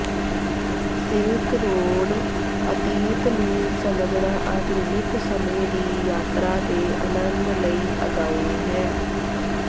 silk road ਅਤੀਤ ਨੂੰ ਸਮਝਣਾ ਆਧੁਨਿਕ ਸਮੇਂ ਦੀ ਯਾਤਰਾ ਦੇ ਅਨੰਦ ਲਈ ਅਗਾਉਂ ਹੈ